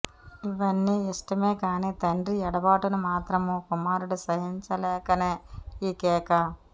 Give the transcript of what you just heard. ఇవన్నీ ఇష్టమే గానీ తండ్రి యెడబాటును మాత్రము కుమారుడు సహించలేకనే ఈ కేక